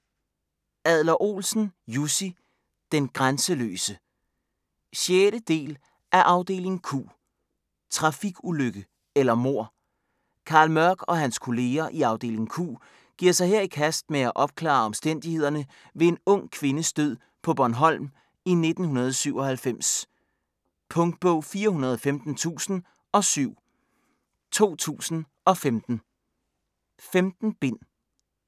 Adler-Olsen, Jussi: Den grænseløse 6. del af Afdeling Q. Trafikulykke eller mord? Carl Mørch og hans kolleger i Afdeling Q giver sig her i kast med at opklare omstændighederne ved en ung kvindes død på Bornholm i 1997. Punktbog 415007 2015. 15 bind.